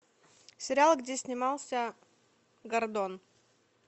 сериал где снимался гордон